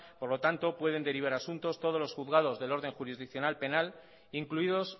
por lo tanto pueden derivar asuntos todos los juzgados del orden jurisdiccional penal incluidos